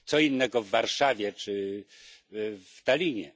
Co innego w Warszawie, czy w Tallinie.